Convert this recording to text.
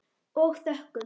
Og þökkum.